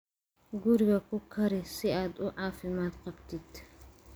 Guriga ku kari si aad u caafimaad qabtid.